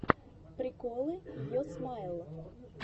приколы йо смайл